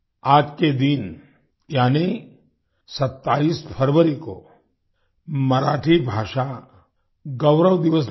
आज के दिन यानी 27 फरवरी को मराठी भाषा गौरव दिवस भी है